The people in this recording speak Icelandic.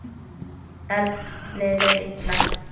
Erni leið illa.